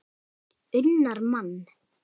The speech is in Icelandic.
unnar mann.